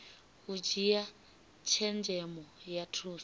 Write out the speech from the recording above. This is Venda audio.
u dzhia tshenzhemo ya thusa